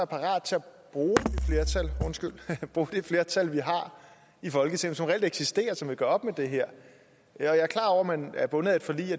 parat til at bruge det flertal vi har i folketinget som reelt eksisterer og som vil gøre op med det her jeg er klar over at man er bundet af et forlig